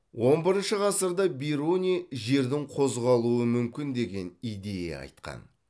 он бірінші ғасырда бируни жердің қозғалуы мүмкін деген идея айтқан